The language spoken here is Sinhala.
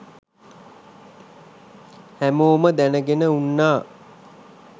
හැමෝම දැනගෙන උන්නා